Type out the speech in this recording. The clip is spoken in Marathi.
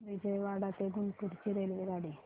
विजयवाडा ते गुंटूर ची रेल्वेगाडी